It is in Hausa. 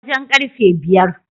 Wajen karfe biyar